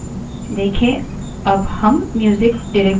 देखें अब हम music directory में हैं